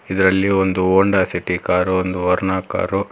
ಇದರಲ್ಲಿ ಒಂದು Honda City car ಒಂದು ವರ್ನ ಕಾರು .